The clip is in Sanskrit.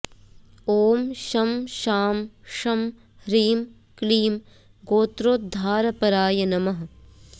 ॐ शं शां षं ह्रीं क्लीं गोत्रोद्धारपराय नमः